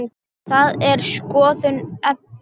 Það er skoðun Eddu.